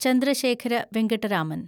Chandrasekhara Venkata Raman